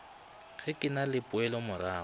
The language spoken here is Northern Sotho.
ge ke na le poelomorago